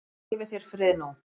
Guð gefi þér frið nú.